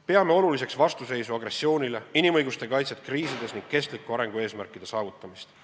Peame oluliseks vastuseisu agressioonile, inimõiguste kaitset kriiside korral ning kestliku arengu eesmärkide saavutamist.